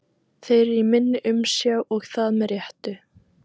Þeir eru í minni umsjá og það með réttu.